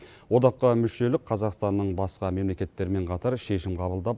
одаққа мүшелік қазақстанның басқа мемлекеттермен қатар шешім қабылдап